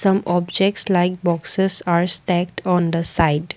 some objects like boxes are stacked on the side.